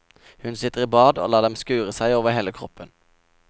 Hun sitter i bad og lar dem skure seg over hele kroppen.